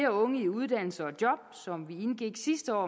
unge i uddannelse og job som vi sidste år